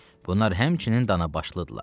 Bunlar həmçinin Danabaşlıydılar.